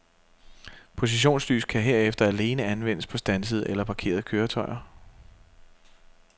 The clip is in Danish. Positionslys kan herefter alene anvendes på standsede eller parkerede køretøjer.